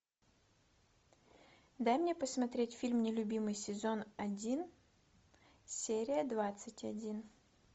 дай мне посмотреть фильм нелюбимый сезон один серия двадцать один